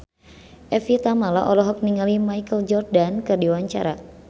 Evie Tamala olohok ningali Michael Jordan keur diwawancara